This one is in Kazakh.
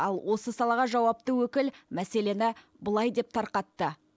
ал осы салаға жауапты өкіл мәселені былай деп тарқатты